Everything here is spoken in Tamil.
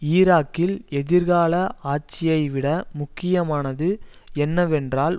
ஈராக்கில் எதிர்கால ஆட்சியை விட முக்கியமானது என்னவென்றால்